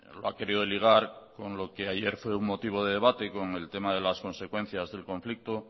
lo ha querido ligar con lo que ayer fue un motivo de debate con el tema de las consecuencias del conflicto